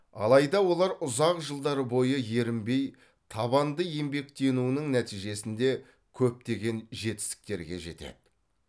алайда олар ұзақ жылдар бойы ерінбей табанды еңбектенуінің нәтижесінде көптеген жетістіктерге жетеді